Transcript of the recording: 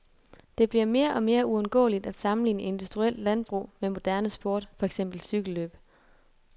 Det bliver mere og mere uundgåeligt at sammenligne industrielt landbrug med moderne sport, for eksempel cykellløb.